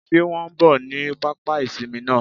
Sé wọn n bò ní pápá ìsinmi náà